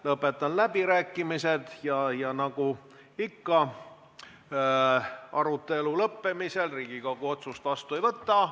Lõpetan läbirääkimised ja nagu ikka arutelu lõppemisel Riigikogu otsust vastu ei võta.